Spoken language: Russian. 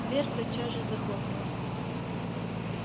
дверь тотчас же захлопнулась